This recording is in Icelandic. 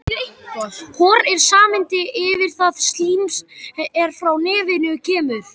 Hor er samheiti yfir það slím er frá nefinu kemur.